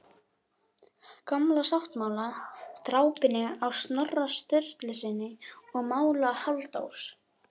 Gamla sáttmála, drápinu á Snorra Sturlusyni og mála Halldórs